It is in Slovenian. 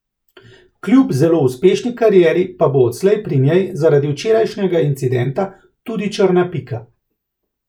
Kljub zelo uspešni karieri pa bo odslej pri njej zaradi včerajšnjega incidenta tudi črna pika.